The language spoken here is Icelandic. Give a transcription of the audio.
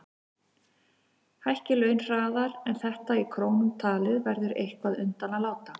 Hækki laun hraðar en þetta í krónum talið verður eitthvað undan að láta.